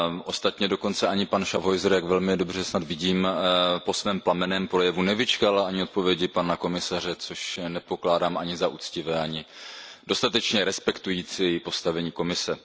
Ostatně dokonce ani pan Schaffhauser, jak velmi dobře snad vidím, po svém plamenném projevu nevyčkal na odpověď pana komisaře, což nepokládám ani za uctivé, ani dostatečně respektující postavení Komise.